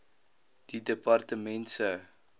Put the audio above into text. die departement se